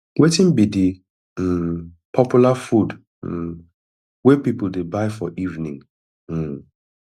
wetin be di um popular food um wey people dey buy for evening um